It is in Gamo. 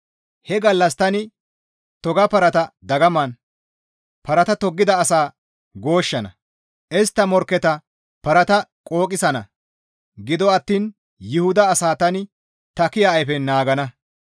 He gallas tani toga parata dagaman, parata toggida asaa gooshshana; istta morkketa parata qooqisana; gido attiin Yuhuda asaa tani ta kiya ayfen naagana.